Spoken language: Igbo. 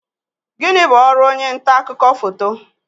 Gini bu ọrụ onye nta akụkọ foto?